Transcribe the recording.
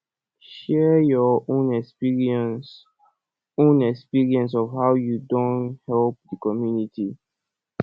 share your own experience own experience of how you don help di community